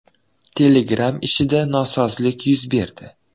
Telegram ishida nosozlik yuz berdi.